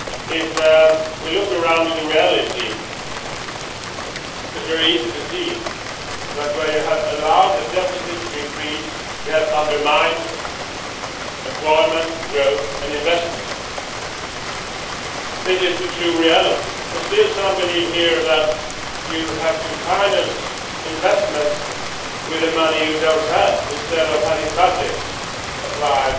If we look around, in reality it is very easy to see that, where you have allowed the deficits to increase, you have undermined employment, growth and investment. This is the true reality, and still some here believe that you have to finance investments with the money you do not have, instead of having budgets applied